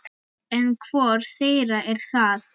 En hvor þeirra er það?